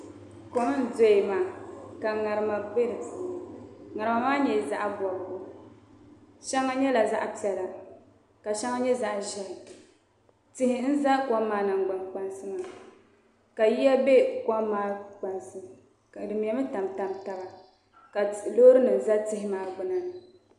Kom n doya maa ka ŋarima bɛ di puuni ŋarima maa nyɛla zaɣ bobgu shɛŋa nyɛla zaɣ piɛla ka shɛŋa nyɛ zaɣ ʒiɛhi tihi n za kom maa nangbani kpansi maa ka yiya bɛ kom maa kpansi ka di mɛmi tamtam taba ka Loori nim n ʒɛ tihi maa gbuni maa